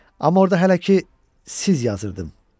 Amma orada hələ ki, "siz" yazırdım.